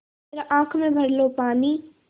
ज़रा आँख में भर लो पानी